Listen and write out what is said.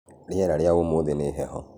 Rĩera rĩa ũmũthi nĩ heho